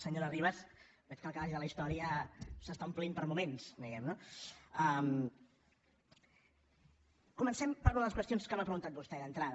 senyora ribas veig que el calaix de la història s’està omplint per moments diguem ne no comencem per les qüestions que m’ha preguntat vostè d’entrada